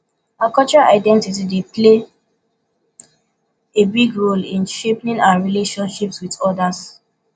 our cultural identity dey play a big role in shaping our relationships with odas